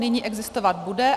Nyní existovat bude.